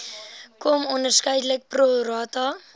km onderskeidelik prorata